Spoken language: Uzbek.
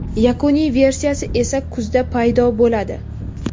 Yakuniy versiyasi esa kuzda paydo bo‘ladi.